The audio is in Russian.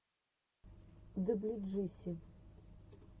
даблюджиси